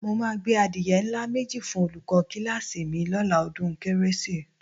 Mo máa gbé adìye ńlá méjì fún olùkọ́ kíláàsì mi lọ́la ọdún kérésì